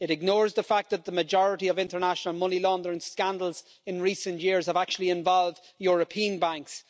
It ignores the fact that the majority of international money laundering scandals in recent years have actually involved European banks.